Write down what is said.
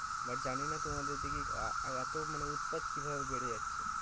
but জানি না তোমাদের দিকে এতো মানে উৎপাত কি ভাবে বেড়ে যাচ্ছে